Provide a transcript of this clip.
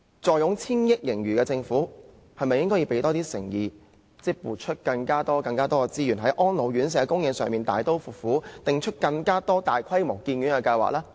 坐擁千億元盈餘的政府，是否應該多展現點誠意，撥出更多資源，在安老院舍供應上大刀闊斧，定出更多大規模的建院計劃呢？